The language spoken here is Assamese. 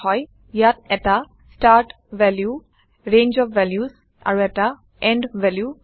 ইয়াত এটা start value range of values আৰু এটা এণ্ড ভেলু থাকে